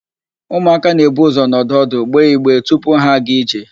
Ụmụaka na-ebu ụzọ nọdụ ọdụ, gbee igbe tupu ha aga ije.